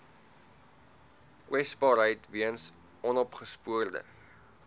kwesbaarheid weens onopgespoorde